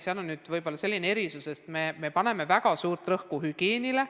Kehtib selline erisus, et me paneme väga suurt rõhku hügieenile.